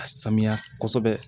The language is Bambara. A saniya kosɛbɛ